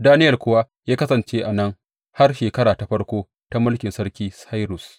Daniyel kuwa ya kasance a nan har shekara ta farko ta mulkin sarki Sairus.